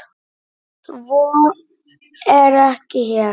Svo er ekki hér.